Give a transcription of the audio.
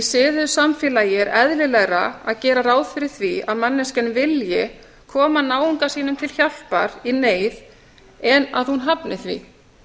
siðuðu samfélagi er eðlilegra að gera ráð fyrir því að manneskjan vilji koma náunga sínum til hjálpar í neyð en að hún hafni því